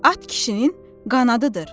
at kişinin qanadıdır.